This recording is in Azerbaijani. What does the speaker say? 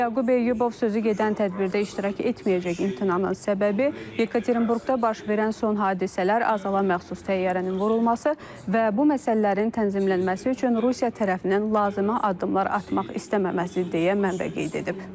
Yaqub Eyyubov sözü gedən tədbirdə iştirak etməyəcək, imtinanın səbəbi Yekaterinburqda baş verən son hadisələr, Azərbaycana məxsus təyyarənin vurulması və bu məsələlərin tənzimlənməsi üçün Rusiya tərəfindən lazımə addımlar atmaq istənilməməsi deyə mənbə qeyd edib.